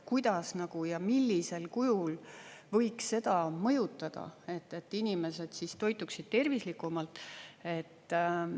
Kuidas ja millisel kujul võiks seda mõjutada, et inimesed toituksid tervislikumalt?